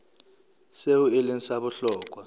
seo e leng sa bohlokwa